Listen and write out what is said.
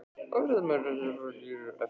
Fréttamaður: Er þetta klofningur í flokknum?